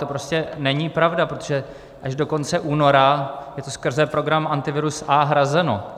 To prostě není pravda, protože až do konce února je to skrze program Antivirus A hrazeno.